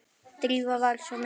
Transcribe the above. Drífa var miður sín.